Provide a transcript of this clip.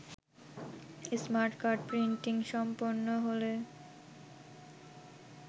smart card printing সম্পন্নহলে